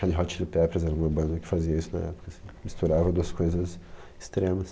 Red Hot Chili Peppers era uma banda que fazia isso na época, assim, misturava duas coisas extremas.